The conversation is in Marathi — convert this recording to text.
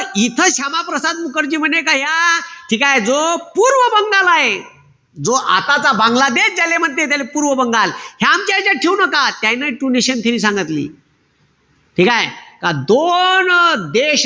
इथं क्षमाप्रसाद मुखर्जी म्हणे का या ठीकेय? जो पूर्व बंगाल आहे. जो आताचा बांगलादेश ज्याले म्हणते त्याले पूर्व बंगाल. हे आमच्या यांच्यात ठेऊ नका. त्यायन हि two nation theory सांगितली. ठीकेय? त दोन देश,